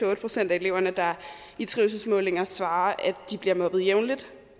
otte procent af eleverne der i trivselsmålinger svarer at de bliver mobbet jævnligt